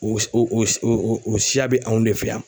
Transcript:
O s o o s o siya bɛ anw de fɛ yan.